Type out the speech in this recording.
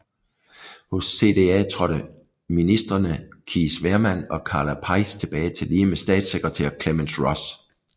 Hos CDA trådte ministreme Cees Veerman og Karla Peijs tilbage tillige med statssekretær Clemence Ross